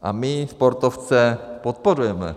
A my sportovce podporujeme.